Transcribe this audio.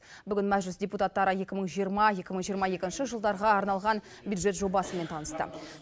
бүгін мәжіліс депутаттары екі мың жиырма екі мың жиырма екінші жылдарға арналған бюджет жобасымен танысты